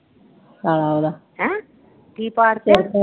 ਹੈਂ ਕਿ